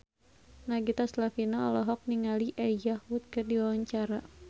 Nagita Slavina olohok ningali Elijah Wood keur diwawancara